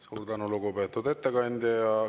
Suur tänu, lugupeetud ettekandja!